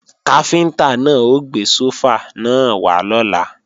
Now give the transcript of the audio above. Káfíntá náà ó gbé sófà náà wá lọ́la